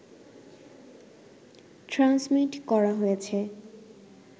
transmit করা হয়েছে